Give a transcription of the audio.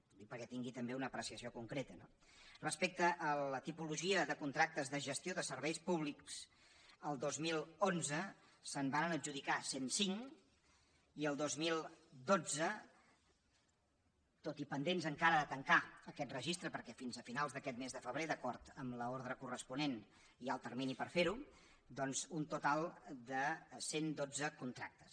ho dic perquè tingui també una apreciació concreta no respecte a la tipologia de contractes de gestió de serveis públics el dos mil onze se’n varen adjudicar cent i cinc i el dos mil dotze tot i pendents encara de tancar aquest registre perquè fins a finals d’aquest mes de febrer d’acord amb l’ordre corresponent hi ha el termini per fer ho doncs un total de cent i dotze contractes